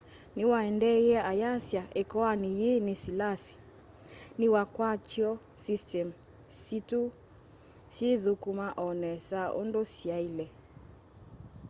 niwaendeeie ayasya ikoani yii ni siliasi ni wikwatyo systemu situ syithukuma o nesa undu syaile